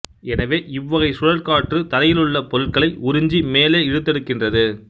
எனவே இவ்வகைச் சுழல் காற்று தரையிலுள்ள பொருட்களை உறிஞ்சி மேலே இழுத்தெடுக்கின்றது